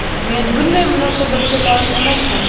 Men bunday munosabatga loyiq emasman.